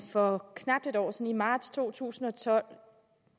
for knap et år siden i marts to tusind og tolv